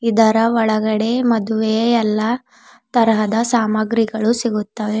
ಇದರ ಒಳಗಡೆ ಮದುವೆಯ ಎಲ್ಲಾ ತರಹದ ಸಾಮಾಗ್ರಿಗಳು ಸಿಗುತ್ತವೆ.